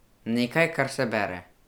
Nekaj, kar se bere.